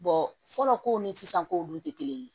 fɔlɔ ko ni sisan kow dun tɛ kelen ye